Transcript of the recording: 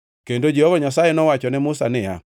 kendo Jehova Nyasaye nowacho ne Musa niya,